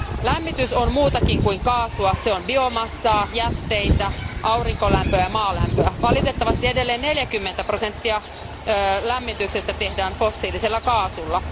Lämmitys on muutakin kuin kaasua se on biomassaa, jätteitä, aurinkolämpöä ja maalämpöä. Valitettavasti edelleen 40 prosenttia lämmityksestä tehdään fossiilisella kaasulla.